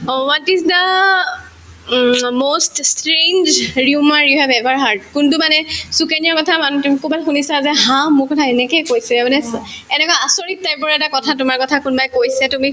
O, what is the um most স্ত্ৰন strange rumor you have ever hard কোনটো মানে সুকন্যাৰ কথা মানে তুমি কৰবাত শুনিছা যে ha মোৰ কথা এনেকে কৈছে মানে চোৱা এনেকুৱা আচৰিত type ৰ এটা কথা তোমাৰ কথা কোনাবাই কৈছে তুমি